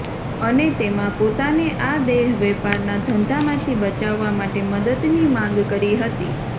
અને તેમાં પોતાને આ દેહવેપારના ધંધામાંથી બચાવવા માટે મદદની માંગ કરી હતી